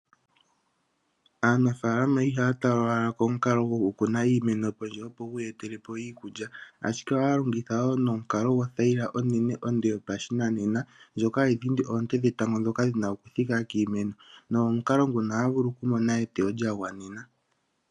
Aanafaalama ihaya tala owala komukalo gokuna iimeno pondje opo yiiyetelepo iikulya, ashike ohaya longitha nomukalo gothayila onde , onene yopashinanena. Ohayi dhindi oonte dhetango ndhoka dhina okuthika kiimeno nomomukalo nguno ohaya vulu okumona eteyo lyagwanena.